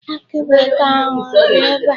Akị bekee ahụ, ọ dị ebee?